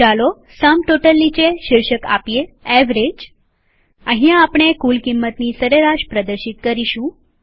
ચાલો sum total નીચે શીર્ષક આપીએ એવરેજ અહિયાં આપણે કુલ કિંમતની સરેરાશ પ્રદર્શિત કરીશું